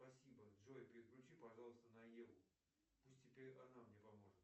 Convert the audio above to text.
спасибо джой переключи пожалуйста на еву пусть теперь она мне поможет